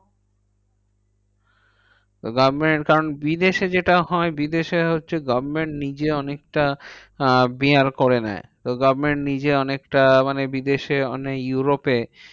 তো government বিদেশে যেটা হয় বিদেশে হচ্ছে government নিজে অনেকটা আহ bear করে নেয়। তো government নিজে অনেকটা মানে বিদেশে মানে ইউরোপে